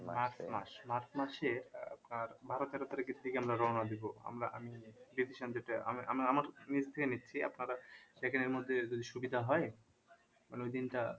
march মাস march মাসে আহ আপনার বারো তেরো তারিখের দিকে আমরা রওনা দিব আমরা আমি আপনারা সেখানের মধ্যে যদি সুবিধা হয় মানে ওই দিনটা